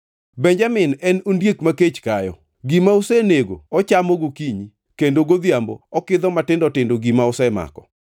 “Benjamin en ondiek ma kech kayo; gima osenego ochamo gokinyi, kendo godhiambo okidho matindo tindo gima osemako.”